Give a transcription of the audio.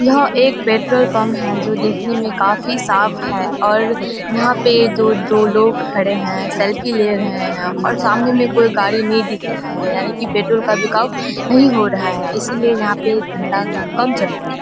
यहाँ एक petrol pump है देखने में काफी साफ़ है और यहाँ पे जो दो लोग खड़े हैं सेल्फी ले रहे हैं और सामने में कोई गाड़ी नहीं दिख रहा है यानि की पेट्रोल का बिकाऊ नहीं हो रहा है इसीलिए यहाँ पे धंधा काम चल रहा है।